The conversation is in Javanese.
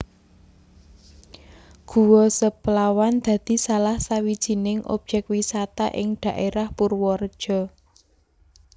Guwa Seplawan dadi salah sawijining objèk wisata ing daèrah Purwareja